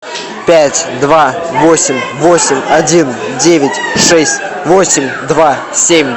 пять два восемь восемь один девять шесть восемь два семь